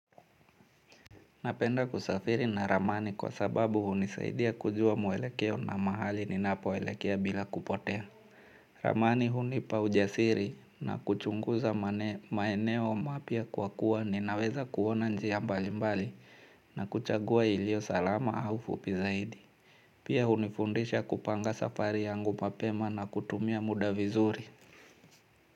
Napenda kusafiri na ramani kwa sababu huni saidia kujua mwelekeo na mahali ninapoelekea bila kupotea. Ramani hunipa hujasiri na kuchunguza maeneo mapya kwa kuwa ninaweza kuona njia mbali mbali na kuchagua ilio salama au fupi zaidi. Pia hunifundisha kupanga safari yangu mapema na kutumia muda vizuri.